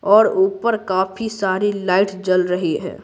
और ऊपर काफी सारी लाइट जल रही है।